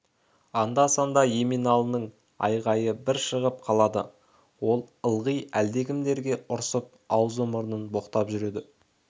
анда-санда еменалының айғайы бір шығып қалады ол ылғи әлдекімдерге ұрсып аузы мұрнын боқтап жүреді